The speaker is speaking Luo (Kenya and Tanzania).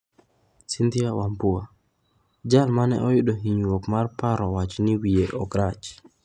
Cynthia Wambua: jal mane oyudo hinyruok mar paro owacho ni wiye ok rach.